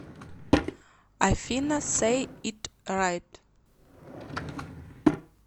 афина сэй ит райт